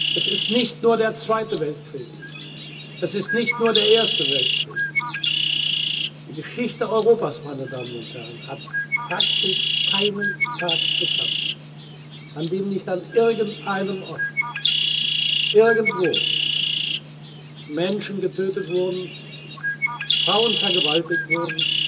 Tag! Es ist nicht nur der Zweite Weltkrieg, es ist nicht nur der Erste Weltkrieg, die Geschichte Europas, meine Damen und Herren, hat praktisch keinen Tag gekannt, an dem nicht an irgendeinem Ort irgendwo Menschen getötet wurden, Frauen vergewaltigt